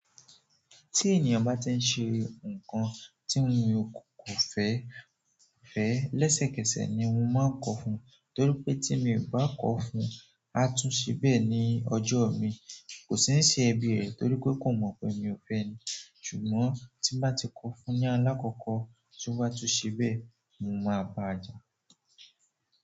Tí ènìyàn bá ti ń ṣe nǹkan tí mo kò fẹ́, fẹ́, lẹ́sẹ̀kẹsẹ̀ ni mo máa ń kọ fún. Torí pé tí mi i bá kọ fún, a tún ṣe bẹ́ ní ọjọ́ mi. Kò sì ń se ẹbí rẹ̀ torí pé kò mọ̀ pé mi ò fẹ́ ẹ ni. Ṣùgbọ́n tí n bá ti kọ fún ni alákọ́ọ́kọ́, tí o bá tún ṣe bẹ́, mo máa bá a jà.